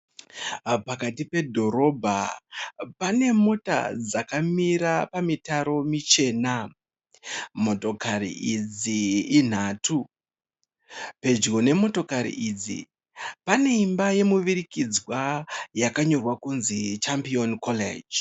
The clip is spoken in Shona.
Pakati pedhorobha pane mota dzakamira pamitaro michena. Motakari idzi inhatu. Pedyo nemotakari idzi, pane imba yemuvirikidzwa yakanyorwa kudzi chambiyoni koreji.